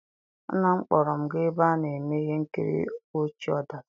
Nna m kpọrọ m gaa ebe a na-eme ihe nkiri ọchị-ọdachi